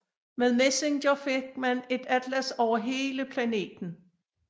Med MESSENGER fik man et atlas over hele planeten